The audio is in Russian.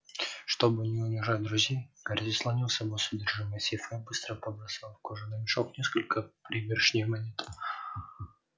чтобы не унижать друзей гарри заслонил собой содержимое сейфа и быстро побросал в кожаный мешок несколько пригоршней монет